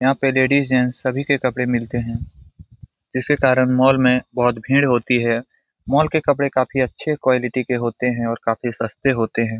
यहाँ पे ladies gents सभी के कपड़े मिलते हैं इसे कारण मॉल में बहुत भीड़ होती है मॉल के कपड़े काफी अच्छे क़्वालिटी के होते हैं और काफी सस्ते होते हैं।